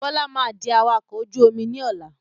Bọlá máa di awakọ̀ ojú omi ni ọ̀la